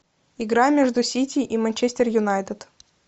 игра между сити и манчестер юнайтед